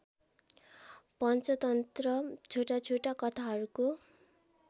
पञ्चतन्त्र छोटाछोटा कथाहरूको